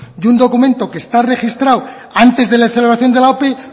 y un documento que está registrado antes de la celebración de la ope